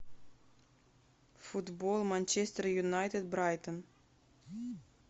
футбол манчестер юнайтед брайтон